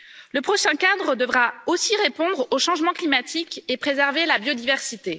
Le prochain cadre devra aussi répondre au changement climatique et préserver la biodiversité.